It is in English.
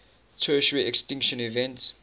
tertiary extinction event